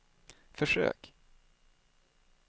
försök